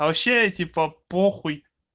а вообще типа похуй